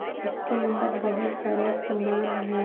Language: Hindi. इसके अंदर बहुत सारे सामान हैं।